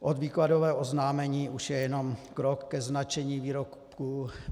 Od výkladového oznámení už je jenom krok ke značení výrobků.